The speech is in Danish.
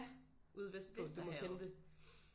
Ja Vesterhavet